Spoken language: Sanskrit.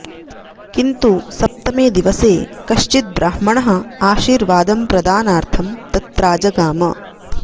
किन्तु सप्तमे दिवसे कश्चिद् ब्राह्मणः आशीर्वादं प्रदानार्थं तत्राजगाम